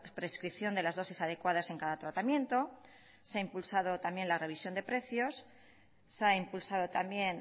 prescripción de las dosis adecuadas en cada tratamiento se ha impulsado también la revisión de precios se ha impulsado también